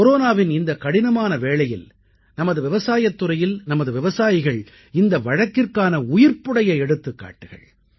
கொரோனாவின் இந்தக் கடினமான வேளையில் நமது விவசாயத் துறையில் நமது விவசாயிகள் இந்த வழக்கிற்கான உயிர்ப்புடைய எடுத்துக்காட்டுகள்